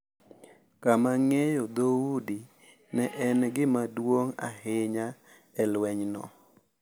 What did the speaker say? Kama ng’eyo dhoudi ne en gima duong’ ahinya e lwenyno.